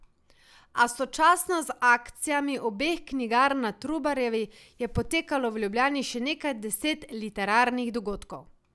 A sočasno z akcijami obeh knjigarn na Trubarjevi je potekalo v Ljubljani še nekaj deset literarnih dogodkov.